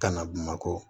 Ka na bamakɔ